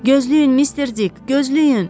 Gözləyin mister Dig, gözləyin.